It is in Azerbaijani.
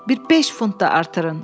“Bir beş funt da artırın.